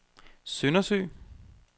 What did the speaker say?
Søndersø